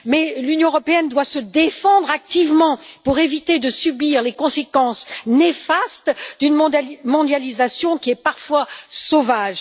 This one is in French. Toutefois, l'Union européenne doit se défendre activement pour éviter de subir les conséquences néfastes d'une mondialisation qui est parfois sauvage.